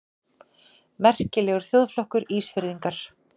Merkilegur þjóðflokkur, Ísfirðingar!